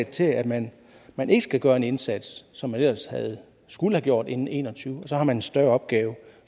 til at man man ikke skal gøre den indsats som man ellers skulle have gjort inden en og tyve og så har man en større opgave